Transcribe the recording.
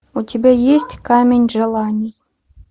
у тебя есть камень желаний